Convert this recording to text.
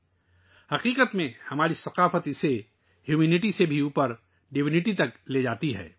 درحقیقت ہماری ثقافت اسے انسانیت سے اوپر، الوہیت تک لے جاتی ہے